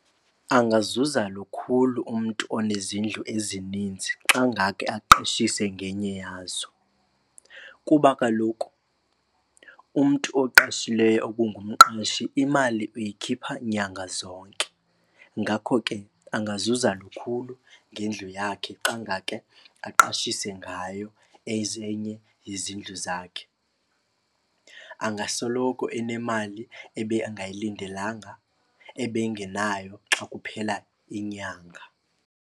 Angazuza lukhulu umntu onezindlu ezininzi xa ngake aqeshise ngenye yazo. Kuba kaloku umntu oqashileyo okungumqashi imali uyikhipha nyanga zonke. Ngako ke angazuza lukhulu ngendlu yakhe xa ngake aqashise ngayo enye yezindlu zakhe. Angasoloko enemali ebengayilindelanga, ebengenayo xa kuphela inyanga.